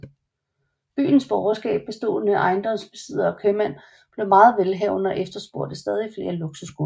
Byernes borgerskab bestående af ejendomsbesiddere og købmænd blev meget velhavende og efterspurgte stadig flere luksusgoder